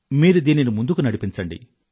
మీరు దీనిని ముందుకు నడిపించండి